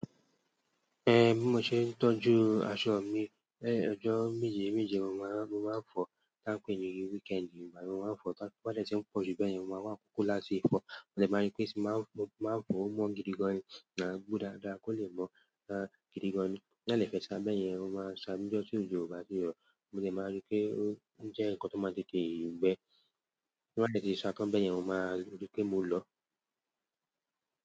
Ehn mo ṣe tọ́jú aṣọ mi. Ọjọ́ méje méje mo máa ń fọ̀ọ́ táà ń pé ní weekend. Ìgbà mi n máa ń fọ̀ọ́ tó bá dẹ̀ tí ń pọ̀ jù bẹ́yẹn mo máa wá àkókò láti fọ̀ọ́. Mo dẹ̀ máa rí pé tí n bá ń fọ̀ọ́ ó mọ́ gidi gan-an ni, màá gboó dáadáa kó lè mọ́ gidi gan-an ni. Tí n bá dẹ̀ fẹ́ sa bẹ́yẹn, mo máa ń sa níjọ́ tí òjò ò bá ti rọ̀. Mo dẹ̀ máa ri pé ó jẹ́ nǹkan tó máa tètè gbẹ. Tí n bá dẹ̀ ti sa tán bẹ́yẹn, mo máa ríi pé mo lọ̀ọ́.